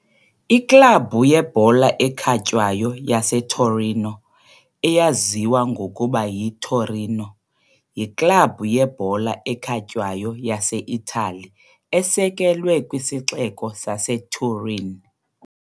Iklabhu yebhola ekhatywayo yaseTorino, eyaziwa ngokuba yiTorino, yiklabhu yebhola ekhatywayo yaseItali esekelwe kwisixeko saseTurin.